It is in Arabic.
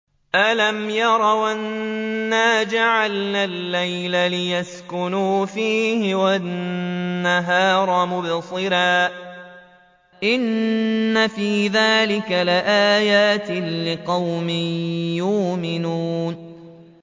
أَلَمْ يَرَوْا أَنَّا جَعَلْنَا اللَّيْلَ لِيَسْكُنُوا فِيهِ وَالنَّهَارَ مُبْصِرًا ۚ إِنَّ فِي ذَٰلِكَ لَآيَاتٍ لِّقَوْمٍ يُؤْمِنُونَ